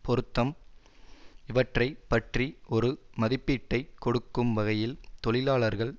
பொருத்தம் இவற்றை பற்றி ஒரு மதிப்பீட்டை கொடுக்கும் வகையில் தோழர்கள்